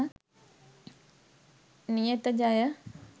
niyatha jaya